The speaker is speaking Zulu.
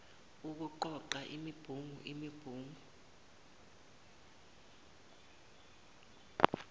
nokuqoqa imibungu imibungu